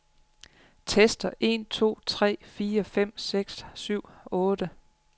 Tester en to tre fire fem seks syv otte.